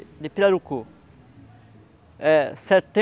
É